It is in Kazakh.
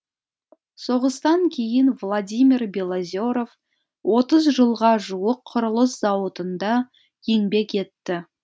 соғыстан кейін владимир белозеров отыз жылға жуық құрылыс зауытында еңбек етті